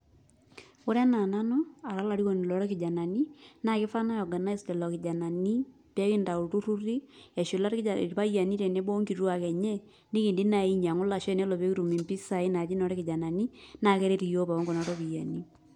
Ore anaa nanu ara olarikoni loo ilkijanani naa keifaa nayoganais lelo kijanani pee nkitayu ilturruri eshula irpayiani tenebo onkituak enye nikindim naaji ainyangu lasho naa ore pee kitum impasai naaji ropiyiani oolkijanani naa keret yiok pookin nena ropiyiani.